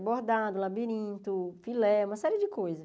Abordado, labirinto, filé, uma série de coisas.